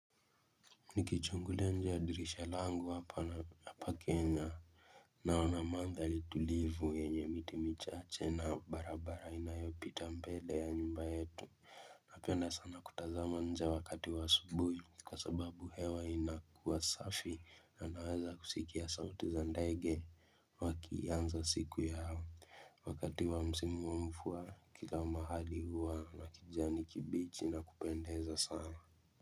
Niki chungulia njia ya dirisha langu hapana hapa kenya Naona mandhali tulivu yenye mitimichache na barabara inayopita mbele ya nyumba yetu na penda sana kutazama nje wakati wa asubuhi kwa sababu hewa inakuwa safi na naweza kusikia sauti za ndege Wakianza siku yao wa wakati wa msimu wa mvua kila mahali huwa na kijani kibichi na kupendeza sana.